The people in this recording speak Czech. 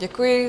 Děkuji.